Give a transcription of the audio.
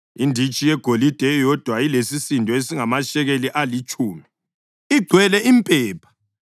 inditshi yegolide eyodwa elesisindo esingamashekeli alitshumi, igcwele impepha;